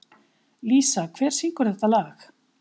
Lísa, hver syngur þetta lag?